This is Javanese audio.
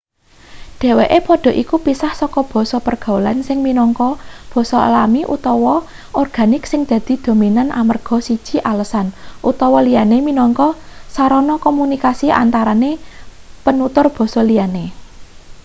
dheweke padha iku pisah saka basa pergaulan sing minangka basa alami utawa organik sing dadi dominan amarga siji alasan utawa liyane minangka sarana komunikasi antarane penutur basa liyane